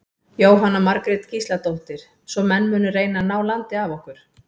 Jóhanna Margrét Gísladóttir: Svo menn munu reyna að ná landi af okkur?